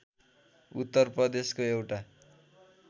उत्तर प्रदेशको एउटा